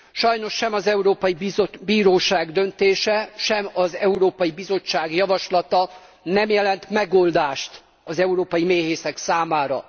Sajnos sem az Európai Bíróság döntése, sem az Európai Bizottság javaslata nem jelent megoldást az európai méhészek számára.